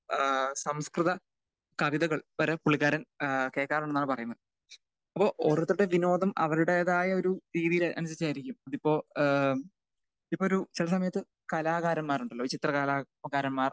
ഏഹ് സംസ്‌കൃത കവിതകൾ വരെ പുള്ളിക്കാരൻ ഏഹ് കേൾക്കാറുണ്ട് എന്നാണ് പറയുന്നത്. അപ്പൊ ഓരോരുത്തരുടേയും വിനോദം അവരുടേതായ ഒരു രീതിയിൽ അങ്ങനൊക്കെ ആയിരിക്കും ഇതിപ്പോ ഏഹ് ഇപ്പൊ ഒരു ചില സമയത്ത് കലാകാരൻമാരുണ്ടല്ലോ ഈ ചിത്ര കലാകാരന്മാർ.